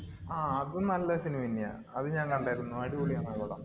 ആഹ് അതും നല്ല cinema ന്നെയാ. അത് ഞാന്‍ കണ്ടാരുന്നു. അടിപൊളിയാണ് ആ പടം.